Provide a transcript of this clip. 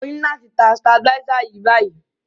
Mo ni láti tan stabilizer yen báyíí